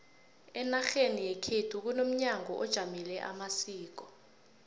enarheni yekhu kunomnyango ojamele amasiko